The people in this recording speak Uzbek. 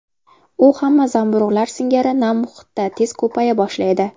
U hamma zamburug‘lar singari nam muhitda tez ko‘paya boshlaydi.